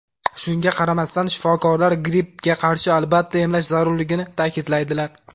Shunga qaramasdan shifokorlar grippga qarshi albatta emlash zarurligini ta’kidlaydilar.